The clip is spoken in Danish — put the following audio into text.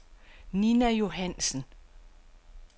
Ninna Johansen